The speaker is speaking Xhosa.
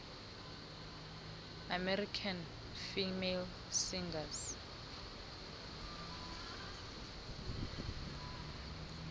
american female singers